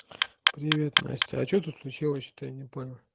привет настя а че тут случилось че-то я не понял